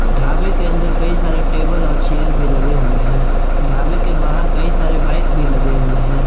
ढाबे के अंदर कई सारे टेबल और चेयर भी लगे हुए हैं ढाबे के बाहर कई सारे बाइक भी लगे हुए हैं।